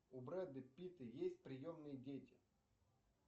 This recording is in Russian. у брэда питта есть приемные дети